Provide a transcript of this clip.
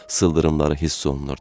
Sıldırımları hiss olunurdu.